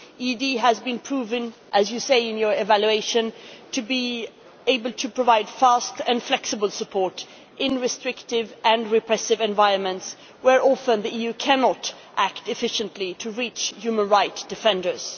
The EED has been proved, as you say in your evaluation, to be able to provide fast and flexible support in restrictive and repressive environments where often the EU cannot act efficiently to reach human rights defenders.